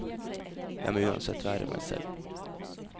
Jeg må uansett være meg selv.